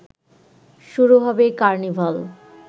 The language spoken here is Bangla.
শুরু হবে কার্নিভাল